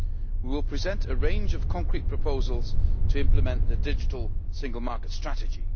We will present a range of concrete proposals to implement the digital single market strategy.